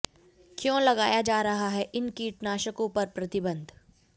क्यों लगाया जा रहा है इन कीटनाशकों पर प्रतिबंध